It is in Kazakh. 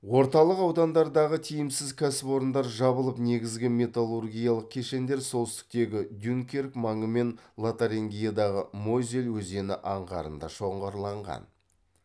орталық аудандардағы тиімсіз кәсіпорындар жабылып негізгі металлургиялық кешендер солтүстіктегі дюнкерк маңы мен лотарингиядағы мозель өзені аңғарындағы шоғырланған